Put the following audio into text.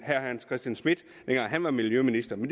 herre hans christian schmidt dengang han var miljøminister men